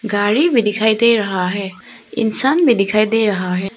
गाड़ी भी दिखाई दे रहा है इंसान भी दिखाई दे रहा है।